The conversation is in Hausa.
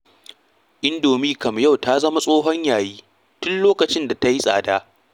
Indomi kam a yau ta zama tsohon yayi tun lokacin da ta yi tsada.